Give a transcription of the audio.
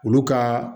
Olu ka